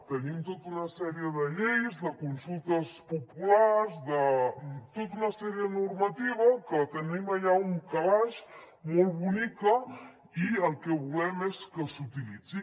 tenim tota una sèrie de lleis de consultes populars tota una sèrie de normativa que la tenim allà a un calaix molt bonica i el que volem és que s’utilitzi